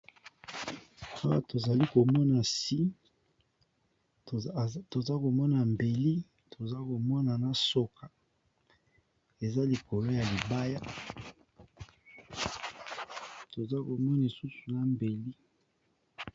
Awa to zali ko mona si toza ko mona mbeli to zako mona soka eza likolo ya libaya toza komona lisusu na mbeli.